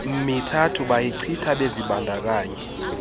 mithathu bayichitha bezibandakanye